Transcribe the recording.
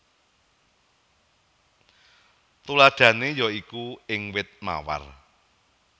Tuladhané ya iku ing wit mawar